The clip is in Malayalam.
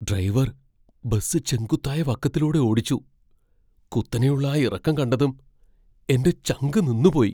ഡ്രൈവർ ബസ് ചെങ്കുത്തായ വക്കത്തൂടെ ഓടിച്ചു, കുത്തനെയുള്ള ആ ഇറക്കം കണ്ടതും എന്റെ ചങ്കു നിന്നുപോയി.